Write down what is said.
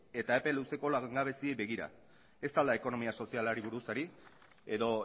eta epe luzeko langabeziei begira ez al da ekonomia sozialari buruz ari edo